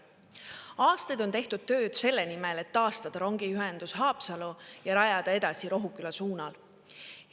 Aastaid on tehtud tööd selle nimel, et taastada rongiühendus Haapsallu ja rajada edasi Rohuküla suunal.